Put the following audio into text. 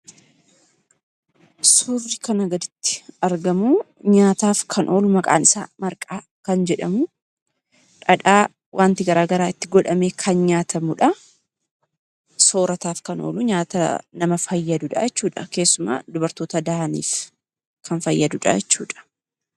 Suurri kana gaditti argamu nyaataaf kan oolu Maqaan kan jedhamu dhadhaa wanti garaagaraa itti godhamee kan nyaatamudha. Soorataaf kan oolu nyaata nama fayyadudhaa jechuudha keessumaa dubartoota dahaniif kan fayyadudha jechuudha.